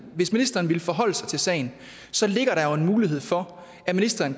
hvis ministeren ville forholde sig til sagen så ligger der jo en mulighed for at ministeren